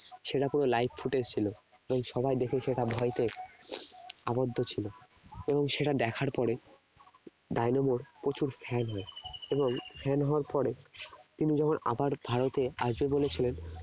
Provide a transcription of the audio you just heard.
সেটা পুরো live footage ছিল এবং সবাই দেখে সেটা ভয় পেয়ে আবদ্ধ ছিল এবং সেটা দেখার পরে ডায়নামোর প্রচুর fan হয় এবং fan হওয়ার পরে তিনি যখন আবার ভারতে আসবে বলেছিলেন